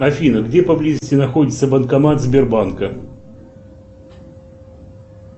афина где поблизости находится банкомат сбербанка